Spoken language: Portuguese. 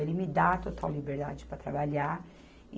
Ele me dá a total liberdade para trabalhar.